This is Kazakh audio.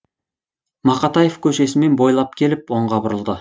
мақатаев көшесімен бойлап келіп оңға бұрылды